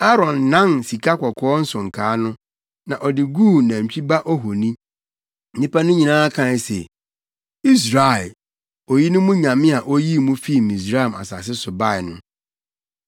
Aaron nan sikakɔkɔɔ nsonkaa no, na ɔde oguu nantwi ba ohoni. Nnipa no nyinaa kae se, “Israel, oyi ne mo nyame a oyii mo fii Misraim asase so bae no.”